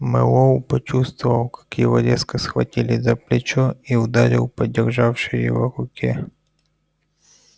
мэллоу почувствовал как его резко схватили за плечо и ударил по державшей его руке